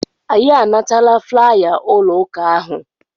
Anyị anatala flaya ụlọ ụka ahụ.